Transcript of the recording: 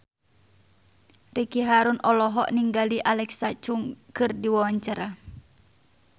Ricky Harun olohok ningali Alexa Chung keur diwawancara